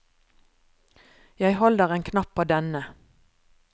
Jeg holder en knapp på denne.